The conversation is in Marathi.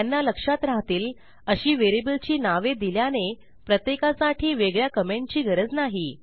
त्यांना लक्षात राहतील अशी व्हेरिएबलची नावे दिल्याने प्रत्येकासाठी वेगळ्या कमेंटची गरज नाही